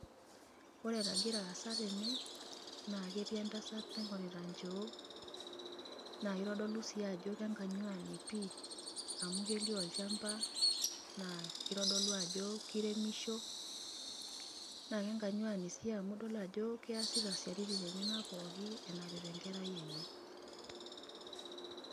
Oore enagira aasa teene naa ketii entasat naing'orita inchoo, naa keitodolu sii aajo kenganyuani pii, amuu kelio olchamba naa keitodolu aajo keiremisho, naa kenganyuani sii amuu idol aajo kiasita isiaitin enyenak pooki, enapita enkerai eenye.